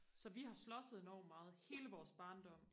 så vi har slåsset enormt meget hele vores barndom